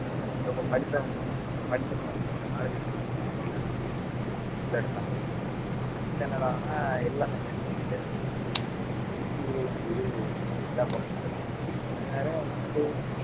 அஹ் ரொம்ப படிச்சவங்க கொஞ்சம் படிச்சிருந்தாக்கூட கொஞ்சம் knowledge இருந்தா போதும் எல்லாருமே எல்லாருமே உள்ளஎடுத்தாங்க ஆனா இப்ப என்னடான்னா எல்லா company லயுமே வெளிய தள்றாங்க இப்ப அந்தந்த IT குள்ள இது ரொம்ப இதா குறைஞ்சிட்டு வருது அதனால நமக்கு